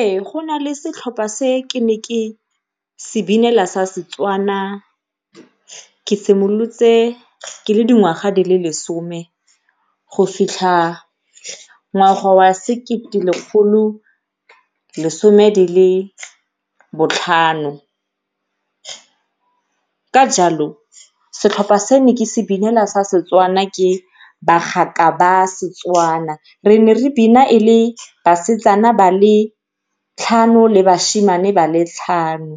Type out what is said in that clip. Ee, go nale setlhopha se ne ke se binela sa Setswana ke simolotse ke le dingwaga di le lesome go fitlha ngwaga wa sekete lekgolo lesome dile botlhano. Ka jalo setlhopha se ne ke se binela sa Setswana ke bagaka ba Setswana. Re ne re bina e le basetsana ba le tlhano le bashimane ba le tlhano,